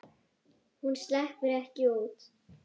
Hún sleppur ekki út.